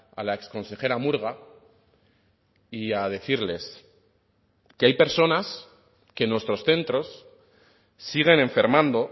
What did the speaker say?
a la exconsejera murga y a decirles que hay personas que en nuestros centros siguen enfermando